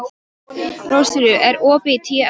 Rósfríður, er opið í Tíu ellefu?